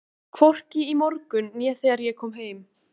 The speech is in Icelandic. Hvorki í morgun né þegar ég kom heim.